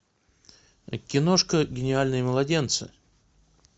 киношка гениальные младенцы